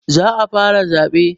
Za a fara zaɓe